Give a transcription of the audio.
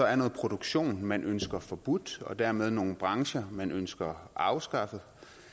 er noget produktion man ønsker forbudt og dermed nogle brancher man ønsker afskaffet